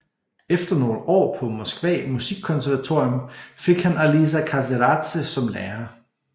Efter nogle år på Moskva musikkonservatorium fik han Aliza Kezeradze som lærer